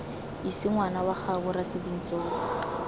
ise ngwana kwa gaabo rasebintsolo